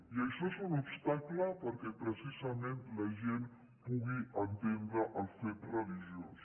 i això és un obstacle perquè precisament la gent pugui entendre el fet religiós